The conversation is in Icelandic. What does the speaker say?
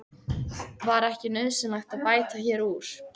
Var ekki nauðsynlegt að bæta hér úr?